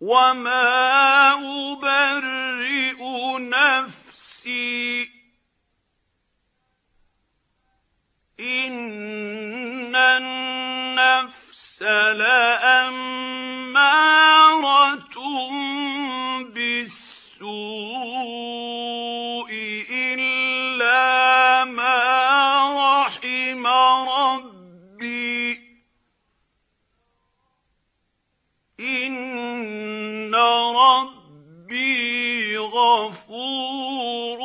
۞ وَمَا أُبَرِّئُ نَفْسِي ۚ إِنَّ النَّفْسَ لَأَمَّارَةٌ بِالسُّوءِ إِلَّا مَا رَحِمَ رَبِّي ۚ إِنَّ رَبِّي غَفُورٌ